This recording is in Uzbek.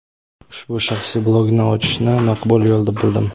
ushbu shaxsiy blogni ochishni maqbul yo‘l deb bildim.